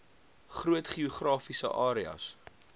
groot geografiese areas